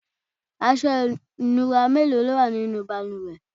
aṣọ ìnura mélòó lówà nínú ìbalùwẹ̀?